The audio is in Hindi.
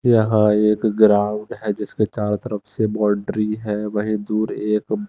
यहां एक ग्राउंड है जिसके चारों तरफ से बाउंड्री है वहीं दूर एक--